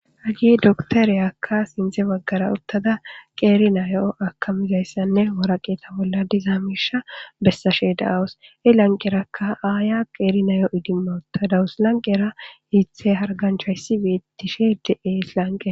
hagi doktoriyakka sinththe baggara uttada qeeri nayo akamizayssanne woraqeeta bolla dizaa miisha bessashe da'awus he lanqerakka aaya qeeri nayo idimma uttadawus lanqera iithe harganchayssi beetishe de'ees lanqen